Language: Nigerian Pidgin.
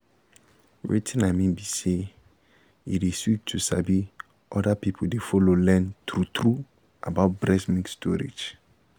wetin i mean be say e dey sweet to sabi say other people dey follow learn true-true about breast milk storage